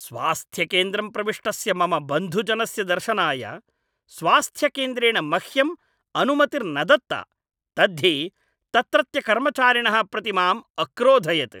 स्वास्थ्यकेन्द्रं प्रविष्टस्य मम बन्धुजनस्य दर्शनाय स्वास्थ्यकेन्द्रेण मह्यम् अनुमतिर्न दत्ता। तद्धि तत्रत्यकर्मचारिणः प्रति माम् अक्रोधयत्।